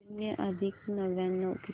शून्य अधिक नव्याण्णव किती